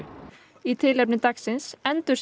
í tilefni dagsins